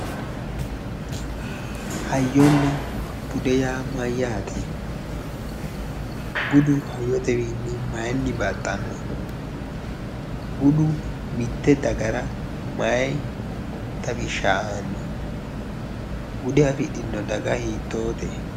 Hayyonna bude yaa mayate ,budu hayyotewinni maa baxxanno, budu mite dagara maayi xawishsha aano ,bude afidhino daga hiittote?